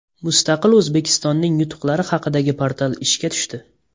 Mustaqil O‘zbekistonning yutuqlari haqidagi portal ishga tushdi.